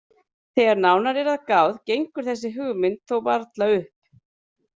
Þegar nánar er að gáð gengur þessi hugmynd þó varla upp.